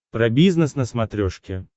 про бизнес на смотрешке